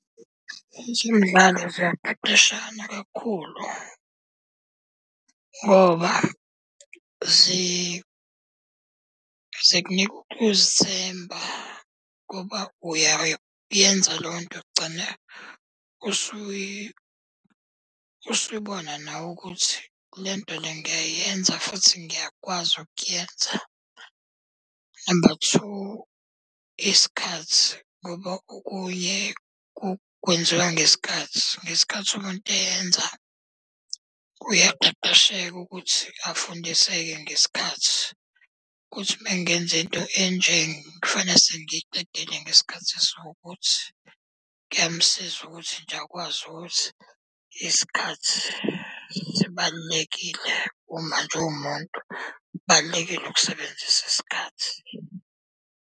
Ezemidlalo ziyaqeqeshana kakhulu. Ngoba zikunika ukuzithemba ngoba uyayenza leyo nto kugcine usuyibona nawe ukuthi lento le ngiyayenza futhi ngiyakwazi ukuyenza. Number two, isikhathi ngoba okunye kwenziwa ngesikhathi. Ngesikhathi umuntu eyenza uyaqeqesheka ukuthi afundiseke ngesikhathi, ukuthi uma ngenza into enje kufanele sengiyiqedile ngesikhathi esukuthi. Kuyamsiza ukuthi nje akwazi ukuthi isikhathi sibalulekile uma nje umuntu, kubalulekile ukusebenzisa isikhathi.